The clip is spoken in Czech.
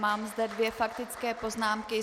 Mám zde dvě faktické poznámky.